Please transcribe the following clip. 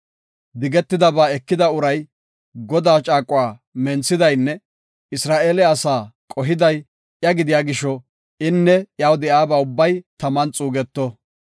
Digetidabaa ekida uray Godaa caaquwa menthidaynne Isra7eele asaa qohiday iya gidiya gisho, inne iyaw de7iyaba ubbay taman xuugeto.